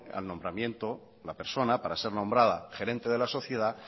el nombramiento la persona para ser nombrada gerente de la sociedad